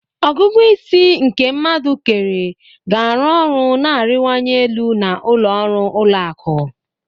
ọgụgụ isi nke mmadu kere ga-arụ ọrụ na-arịwanye elu na ụlọ ọrụ ụlọ akụ.